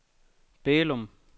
Bælum